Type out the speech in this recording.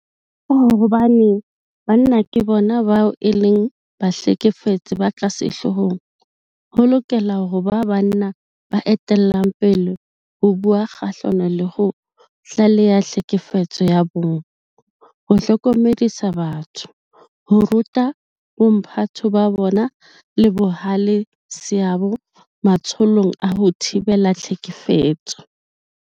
Ka hobane banna ke bona bao e leng bahlekefetsi ba ka sehloohong, ho lokela ho ba banna ba etellang pele ho bua kgahlano le ho tlaleha tlhekefetso ya bong, ho hlokomedisa batho, ho ruta bomphato ba bona le bohale seabo matsholong a ho thibela tlhekefetso.